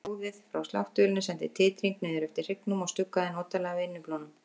Hljóðið frá sláttuvélinni sendi titring niður eftir hryggnum og stuggaði notalega við innyflunum.